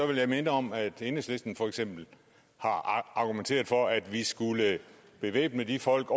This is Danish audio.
vil jeg minde om at enhedslisten for eksempel har argumenteret for at vi skulle bevæbne de folk